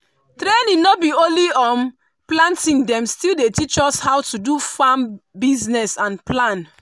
training no be only um planting dem still teach us how to do farm business and plan.